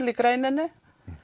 í greininni